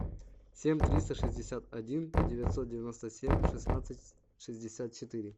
семь триста шестьдесят один девятьсот девяносто семь шестнадцать шестьдесят четыре